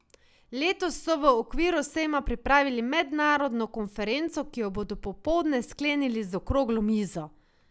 Letos so v okviru sejma pripravili mednarodno konferenco, ki jo bodo popoldne sklenili z okroglo mizo.